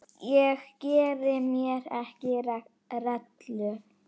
Ég geri mér ekki rellu.